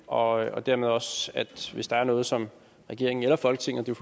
og dermed også at hvis der er noget som regeringen eller folketinget kan